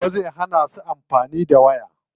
Baba zai hana su amfani da waya.